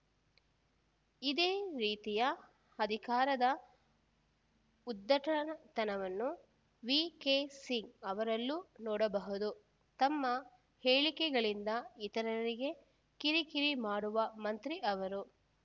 ಇದೇ ರೀತಿಯ ಅಧಿಕಾರದ ಉದ್ಧಟತನವನ್ನು ವಿಕೆಸಿಂಗ್‌ ಅವರಲ್ಲೂ ನೋಡಬಹುದು ತಮ್ಮ ಹೇಳಿಕೆಗಳಿಂದ ಇತರರಿಗೆ ಕಿರಿಕಿರಿ ಮಾಡುವ ಮಂತ್ರಿ ಅವರು